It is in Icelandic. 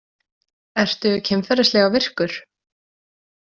Ertu kynferðislega virkur?